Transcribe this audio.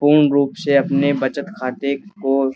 पूर्ण रूप से अपने बचत खाते को --